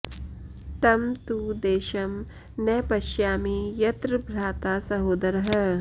तं तु देशं न पश्यामि यत्र भ्राता सहोदरः